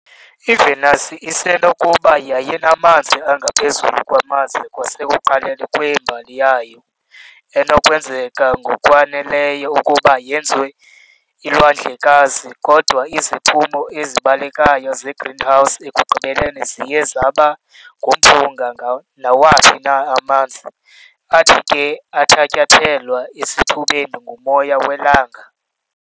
IVenus isenokuba yayinamanzi angaphezulu kwamanzi kwasekuqaleni kwembali yayo, enokwenzeka ngokwaneleyo ukuba yenze iilwandlekazi, kodwa iziphumo ezibalekayo zegreenhouse ekugqibeleni ziye zaba ngumphunga nawaphi na amanzi, athi ke athatyathelwa esithubeni ngumoya welanga .